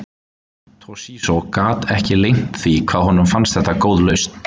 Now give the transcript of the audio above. Toshizo get ekki leynt því hvað honum fannst þetta góð lausn.